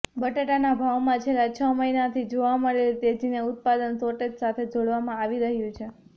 બટાટાના ભાવમાં છેલ્લા છ મહિનાથી જોવા મળેલી તેજીને ઉત્પાદન શોર્ટેજ સાથે જોડવામાં આવી રહ્યું છે